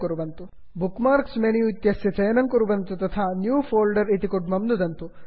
bookmarks menu bookmarks menu इत्यस्य चयनं कुर्वन्तु तथा न्यू फोल्डर न्यू फोल्डर् इत्यत्र नुदन्तु